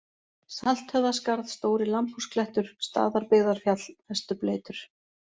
Salthöfðaskarð, Stóri-Lambhúsklettur, Staðarbyggðarfjall, Vesturbleytur